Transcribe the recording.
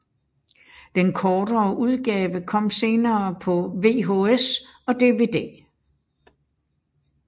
Den kortere udgave kom senere på VHS og DVD